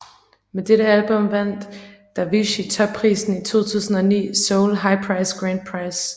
Med dette album vandt Davichi topprisen i 2009 Seoul High Prize Grand Prize